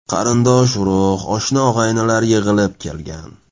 Qarindosh-urug‘, oshna-og‘aynilar yig‘ilib kelgan.